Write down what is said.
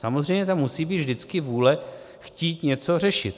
Samozřejmě tam musí být vždycky vůle chtít něco řešit.